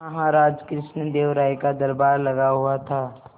महाराज कृष्णदेव राय का दरबार लगा हुआ था